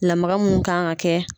Lamaga mun kan ka kɛ